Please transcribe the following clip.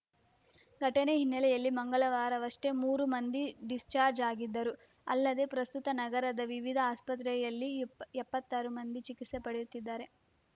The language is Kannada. ಘಟನೆ ಹಿನ್ನೆಲೆಯಲ್ಲಿ ಮಂಗಳವಾರವಷ್ಟೇ ಮೂರು ಮಂದಿ ಡಿಸ್‌ಚಾರ್ಚ್ ಆಗಿದ್ದರು ಅಲ್ಲದೆ ಪ್ರಸ್ತುತ ನಗರದ ವಿವಿಧ ಆಸ್ಪತ್ರೆಯಲ್ಲಿ ಎಪ್ಪತ್ತಾರು ಮಂದಿ ಚಿಕಿತ್ಸೆ ಪಡೆಯುತ್ತಿದ್ದಾರೆ